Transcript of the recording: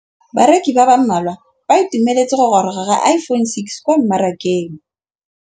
Bareki ba ba malwa ba ituemeletse go gôrôga ga Iphone6 kwa mmarakeng.